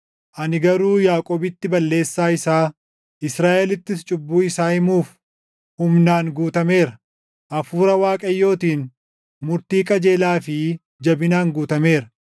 Ani garuu Yaaqoobitti balleessaa isaa, Israaʼelittis cubbuu isaa himuuf humnaan guutameera; Hafuura Waaqayyootiin murtii qajeelaa fi jabinaan guutameera.